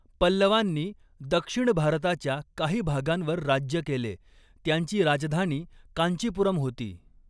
पल्लवांनी दक्षिण भारताच्या काही भागांवर राज्य केले, त्यांची राजधानी कांचीपुरम होती.